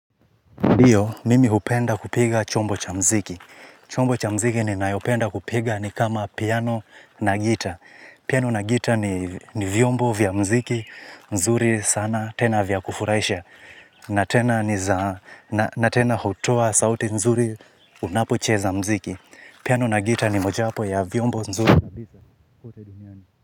Iyo, mimi hupenda kupiga chombo cha mziki. Chombo cha mziki ninayo penda kupiga ni kama piano na gita. Piano na gita ni vyombo vya mziki, nzuri sana, tena vyakufurahisha. Na tena hutoa sauti nzuri unapocheza mziki. Piano na gita ni moja wapo ya vyombo nzuri.